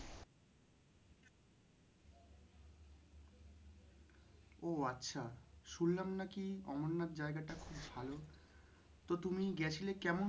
ও আচ্ছা শুনলাম নাকি অমরনাথ জায়গাটা খুব ভালো। তো তুমি গেছিলে কেমন?